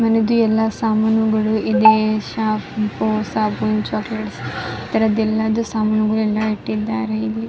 ಮನೇದು ಎಲ್ಲ ಸಾಮಾನುಗಳು ಸಾಬೂನ್ ಚೊಕ್ಲೆಟ್ಸ್ ಎಲ್ಲ ಸಾಮಾನುಗಳು ಇಟ್ಟಿದ್ದಾರೆ ಇಲ್ಲಿ --